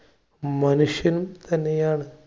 മനുഷ്യൻ തന്നെയാണ്.